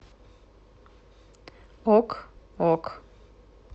ок ок